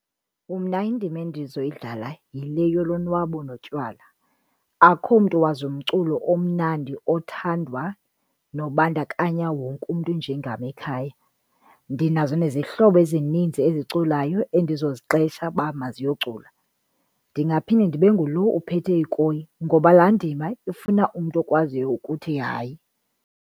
Umna indima endizoyidlala yile yolonwabo notywala, akukho mntu wazi umculo omnandi othandwa nobandakanya wonke umntu njengam ekhaya. Ndinazo nezihlobo ezininzi eziculayo endizoziqesha uba maziyocula. Ndingaphinda ndibe ngulo uphethe ikoyi ngoba laa ndima ifuna umntu okwaziyo ukuthi hayi.